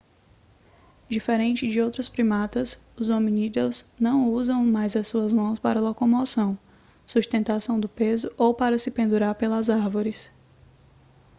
diferente de outros primatas os hominídeos não usam mais suas mãos para locomoção sustentação do peso ou para se pendurar pelas árvores